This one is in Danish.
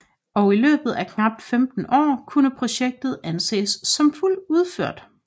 Og i løbet af knapt 15 år kunne projektet anses som udført